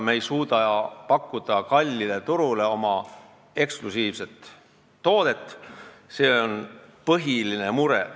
See on põhiline mure, et me ei suuda oma eksklusiivset toodet kallile turule pakkuda.